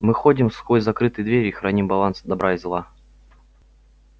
мы ходим сквозь закрытые двери и храним баланс добра и зла